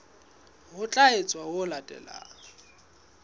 ho tla etswa ho latela